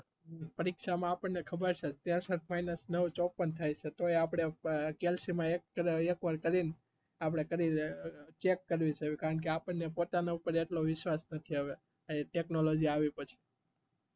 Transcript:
પરીક્ષા માં આપણા ખબર છે ત્રેષઠ minus નવ ચોપન થાય છે તો આપડે calculator માં check કરે છે કારણ કે અપાનને પોતા ની પર વિશ્વાશ નથી આવે technology આવ્યા પછી